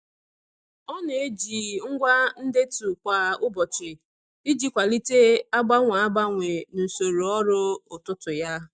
Ọ na-eji ngwa ndetu kwa ụbọchị iji kwalite agbanwe agbanwe n'usoro ọrụ ụtụtụ ya.